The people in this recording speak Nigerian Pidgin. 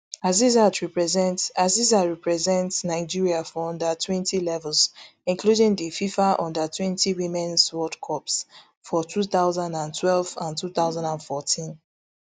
asisat represent asisat represent nigeria for under twenty levels including di fifa under twenty womens world cups for two thousand and twelve and two thousand and fourteen